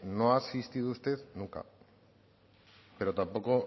no ha asistido usted nunca pero tampoco